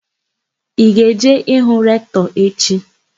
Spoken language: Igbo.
Ị ga-eje ịhụ Rektọ echi?